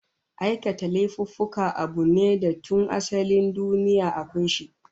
Aikata laifuffuka abu ne da tun asalin duniya akwai shi